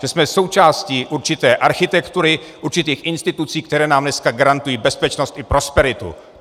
Že jsme součástí určité architektury, určitých institucí, které nám dneska garantují bezpečnost i prosperitu.